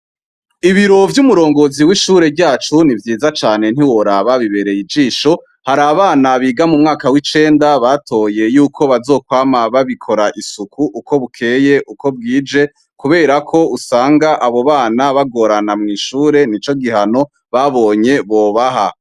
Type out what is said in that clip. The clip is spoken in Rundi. Ibiro vy'umurongozi w'ishure ryacu ni vyiza cane ntiworaba bibereye ijisho hari abana biga mu mwaka w'icenda batoye yuko bazokwama babikora isuku uko bukeye uko bwije, kubera ko usanga abo bana bagorana mw'ishure ni co gihano babonye bobaha.